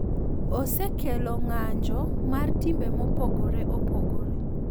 Osekelo ng’anjo mar timbe mopogore opogore.